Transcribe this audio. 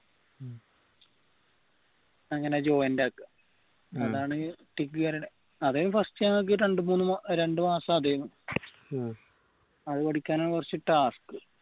അങ്ങനെ joint ആക്കാ അതാണ് അതായത് first ഞങ്ങൾക്ക് രണ്ടുമൂന്ന് രണ്ടുമാസം അതിനു അത് പഠിക്കാനാണ് കുറച്ച് task